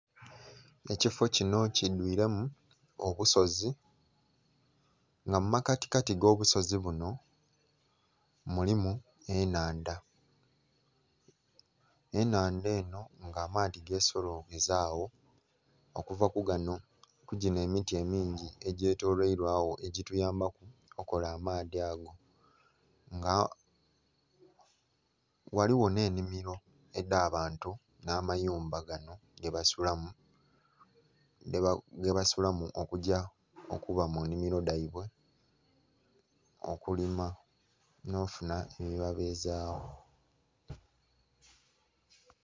Ekifo kinho kidhwiremu obusozi nga mu makatikati ag'obusozi bunho mulimu ennhandha. Ennhandha eno nga amaadhi gesolonkeza agho okuva ku gano, ku gino emiti emingi egyetoloirwagho egyituyambaku okola amaadhi ago. Nga ghaligho n'ennhimiro edh'abantu n'amayumba ganho gebasulamu okugya okuba mu nnhimiro dhaibwe, okulima nh'ofunha ebibabezagho.